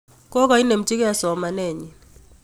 Kokainemchi kei somanet nyi